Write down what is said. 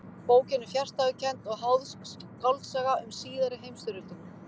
Bókin er fjarstæðukennd og háðsk skáldsaga um síðari heimstyrjöldina.